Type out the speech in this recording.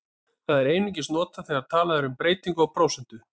Það er einungis notað þegar talað er um breytingu á prósentu.